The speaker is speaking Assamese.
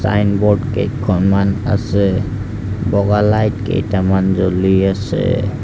ছাইনব'ৰ্ড কেইখনমান আছে বগা লাইট কেইটামান জ্বলি আছে।